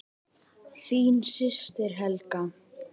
Þín systir, Helga.